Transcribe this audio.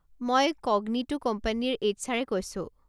মই ক'গনিটো কোম্পানীৰ H R এ কৈছো।